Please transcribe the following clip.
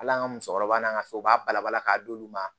Ala an ka musokɔrɔba n'an ka so u b'a balabala k'a d'olu ma